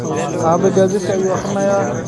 Aabe gazetki ayu akrisanahy.